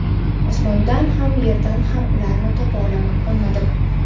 osmondan ham yerdan ham ularni topa olmadim.